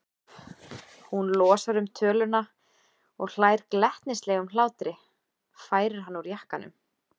Hún losar um töluna og hlær glettnislegum hlátri, færir hann úr jakkanum.